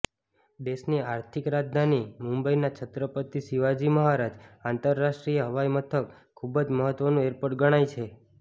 દેશની આર્થિક રાજધાની મુંબઇના છત્રપતિ શિવાજી મહારાજ આંતરરાષ્ટ્રીય હવાઇમથક ખૂબ જ મહત્ત્વનું એરપોર્ટ ગણાય છે